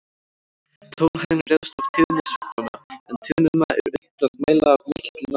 Tónhæðin ræðst af tíðni sveiflanna, en tíðnina er unnt að mæla af mikilli nákvæmni.